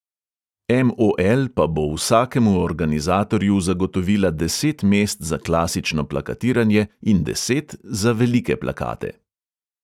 MOL pa bo vsakemu organizatorju zagotovila deset mest za klasično plakatiranje in deset za velike plakate.